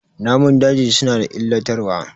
Namun daji suna da illatarwa.